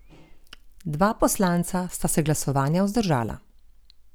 Dva poslanca sta se glasovanja vzdržala.